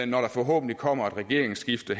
når der forhåbentlig kommer et regeringsskifte